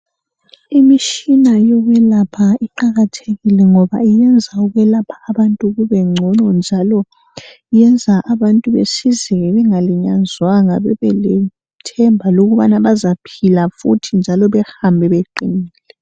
imishina yokwelapha iqakathekile ngoba yenza ukwelapha kubengcono njalo iyenza abantu besizeke bengalinyazwa bengela themba lokuthi bazaphila futhi njalo behambe beqinile